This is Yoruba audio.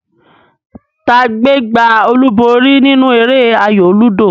Ta gbé gbá olúborí nínú eré ayò lúdò?